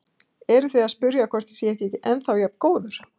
Eruð þið að spyrja hvort ég sé ekki ennþá jafn góður?